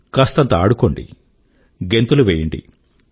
కాస్తంత ఆడుకోండి గెంతులు వెయ్యండి